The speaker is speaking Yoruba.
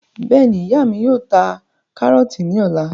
Bẹ́ẹ̀ni, ìyá mí yóò ta karọọti ní ọ̀la